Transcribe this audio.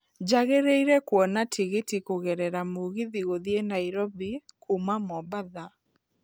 njagĩriĩre kũona tigiti kũgerera mũgithi gũthiĩ nairobi kuuma mombatha